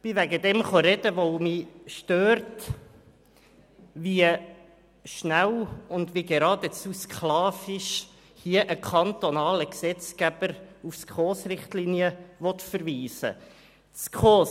Ich bin deshalb hier, weil es mich stört, wie schnell und geradezu sklavisch hier ein kantonaler Gesetzgeber auf die SKOSRichtlinien verweisen will.